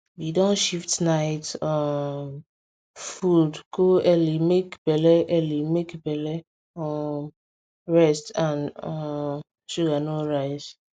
we don shift night um food go early make belle early make belle um rest and um sugar no rise